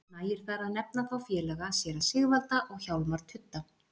Nægir þar að nefna þá félaga séra Sigvalda og Hjálmar tudda.